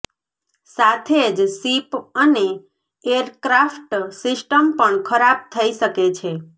સાથે જ શિપ અને એરક્રાફ્ટ સિસ્ટમ પણ ખરાબ થઈ શકે છે